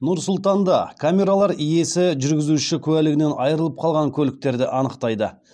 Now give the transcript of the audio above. нұр сұлтанда камералар иесі жүргізуші куәлігінен айырылып қалған көліктерді анықтайды